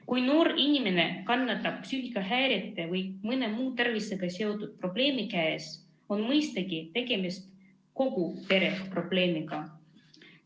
Kui noor inimene kannatab psüühikahäirete või mõne muu tervisega seotud probleemi käes, on mõistagi tegemist kogu pere probleemiga.